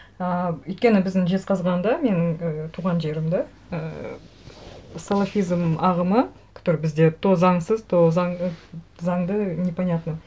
ыыы өйткені біздің жезқазғанда менің туған жерім де і салафизм ағымы который бізде то заңсыз то заңды непонятно